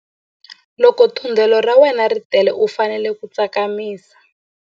Loko thundelo ra wena ri tele u fanele ku tsakamisa.